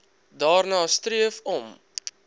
streef daarna om